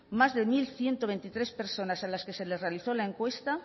más de mil ciento veintitrés personas a las que se les realizó la encuesta